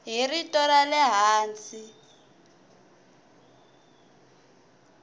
hi rito ra le hansi